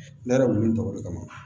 Ne yɛrɛ wulilen tɔgɔ de kama